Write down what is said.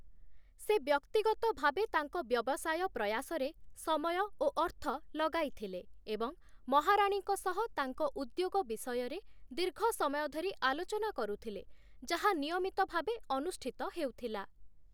ସେ ବ୍ୟକ୍ତିଗତ ଭାବେ ତାଙ୍କ ବ୍ୟବସାୟ ପ୍ରୟାସରେ ସମୟ ଓ ଅର୍ଥ ଲଗାଇଥିଲେ ଏବଂ ମହାରାଣୀଙ୍କ ସହ ତାଙ୍କ ଉଦ୍ୟୋଗ ବିଷୟରେ ଦୀର୍ଘ ସମୟ ଧରି ଆଲୋଚନା କରୁଥିଲେ, ଯାହା ନିୟମିତ ଭାବେ ଅନୁଷ୍ଠିତ ହେଉଥିଲା ।